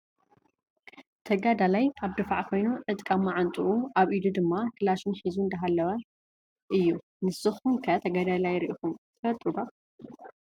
ተጋዳላይ ኣብ ድፋዕ ኮይኑ ዕጥቂ ኣብ ማዓንጡኡን አብ ኢዱ ድማ ካላሽን ሒዙ እንዳሓለወ እዩ። ንስኩም ከ ተጋዳላይ ሪኢኩም ትፈልጡ ዶ ?